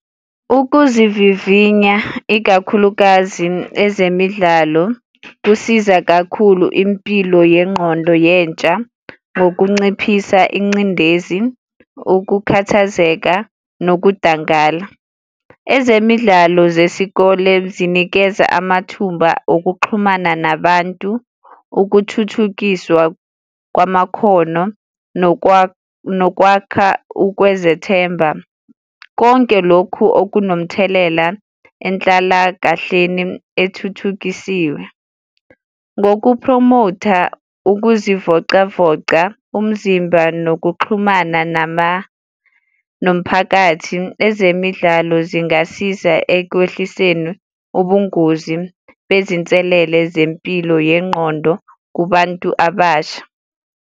Ukuzivivinya ikakhulukazi ezemidlalo, kusiza kakhulu impilo yengqondo yentsha ngokunciphisa ingcindezi, ukukhathazeka nokudangala. Ezemidlalo zesikole zinikeza amathumba okuxhumana nabantu, ukuthuthukiswa kwamakhono nokwakha ukwezethemba. Konke lokhu okunomthelela enhlalakahleni ethuthukisiwe. Ngokuphromotha, ukuzivocavoca umzimba nokuxhumana nomphakathi, ezemidlalo zingasiza ekwehliseni ubungozi bezinselele zempilo yengqondo kubantu abasha.